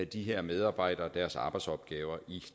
de her medarbejdere deres arbejdsopgaver i